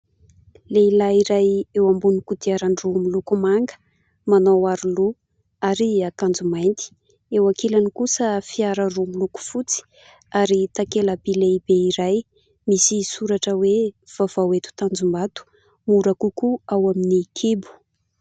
Lehilahy iray eo ambony kodiaran-droa miloko manga, manao aroloha ary akanjo mainty. Eo ankilany kosa, fiara roa miloko fotsy ary takela-by lehibe iray misy soratra hoe : "Vaovao eto Tanjombato, mora kokoa ao amin'ny kibo".